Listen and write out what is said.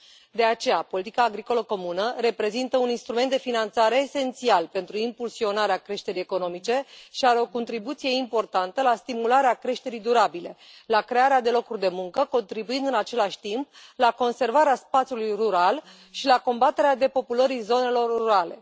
De aceea, politica agricolă comună reprezintă un instrument de finanțare esențial pentru impulsionarea creșterii economice și are o contribuție importantă la stimularea creșterii durabile, la crearea de locuri de muncă, contribuind în același timp la conservarea spațiului rural și la combaterea depopulării zonelor rurale.